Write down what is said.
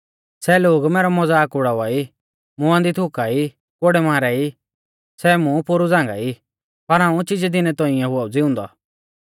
सै लोग मैरौ मज़ाक उड़ावा ई मुंआ दी थुकाई कोड़ै मारा ई सै मुं पोरु झ़ांगाई पर हाऊं चिजै दिनै तौंइऐ हुआ ऊ ज़िउंदौ